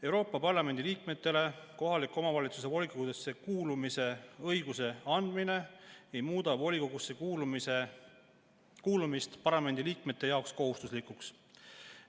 Euroopa Parlamendi liikmetele kohaliku omavalitsuse volikogudesse kuulumise õiguse andmine ei muuda volikogusse kuulumist parlamendi liikmete jaoks kohustuslikuks.